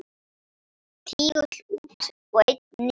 Tígull út og einn niður.